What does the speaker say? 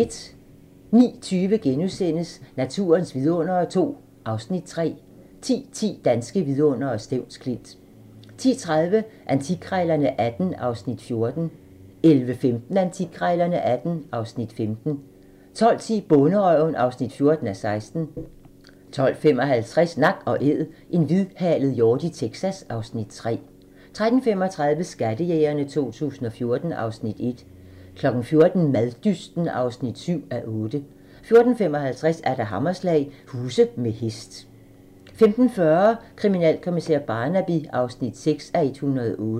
09:20: Naturens vidundere II (Afs. 3)* 10:10: Danske Vidundere: Stevns Klint 10:30: Antikkrejlerne XVIII (Afs. 14) 11:15: Antikkrejlerne XVIII (Afs. 15) 12:10: Bonderøven (14:16) 12:55: Nak & Æd - en hvidhalet hjort i Texas (Afs. 3) 13:35: Skattejægerne 2014 (Afs. 1) 14:00: Maddysten (7:8) 14:55: Hammerslag - huse med hest 15:40: Kriminalkommissær Barnaby (6:108)